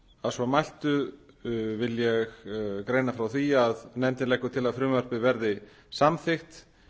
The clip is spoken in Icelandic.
að svo mæltu vil ég greina frá því að nefndin leggur til að frumvarpið verði samþykkt